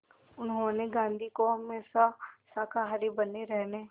उन्होंने गांधी को हमेशा शाकाहारी बने रहने